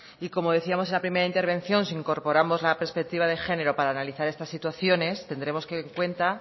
y como decíamos en la primera intervención si incorporamos la perspectiva de género para analizar estas situaciones tendremos en cuenta